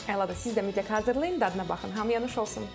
Əladır, siz də mütləq hazırlayın, dadına baxın, hamıya nuş olsun.